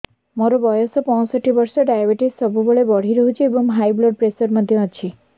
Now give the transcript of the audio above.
ମୋର ବୟସ ପଞ୍ଚଷଠି ବର୍ଷ ଡାଏବେଟିସ ସବୁବେଳେ ବଢି ରହୁଛି ଏବଂ ହାଇ ବ୍ଲଡ଼ ପ୍ରେସର ମଧ୍ୟ ଅଛି